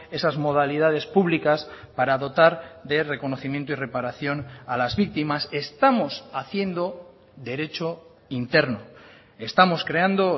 esas modalidades públicas para dotar de reconocimiento y reparación a las víctimas estamos haciendo derecho interno estamos creando